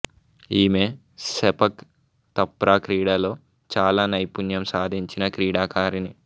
ఈమె sepak takraw క్రీడలో చాలా నైపుణ్యం సాధించిన క్రీడాకారిణి